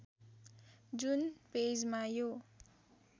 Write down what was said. जुन पेजमा यो